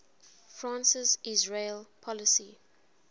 france's israel policy